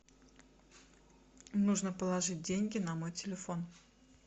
нужно положить деньги на мой телефон